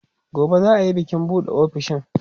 gobe za'a Yi bikin buɗe ofishin